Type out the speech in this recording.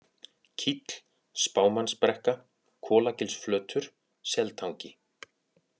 Kíll, Spámannnsbrekka, Kolagilsflötur, Seltangi